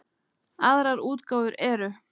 Aðrar útgáfur eru